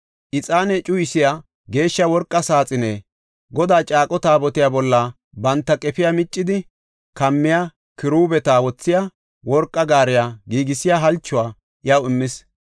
ixaane cuyisiya geeshsha worqa saaxine, Godaa caaqo Taabotiya bolla banta qefiya miccidi kammiya kiruubeta wothiya worqa gaariya giigisiya halchuwa iyaw immis.